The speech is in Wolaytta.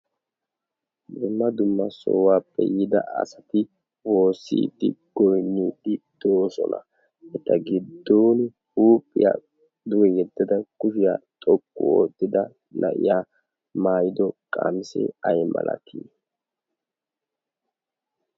dumma dumma sohuwaappe yiida asati woosiiddi goinnidi doosona. eta giddon huuphiyaa duge yeddada kushiyaa xoqqu oottida na'iya maayido qaamisee ai malatii?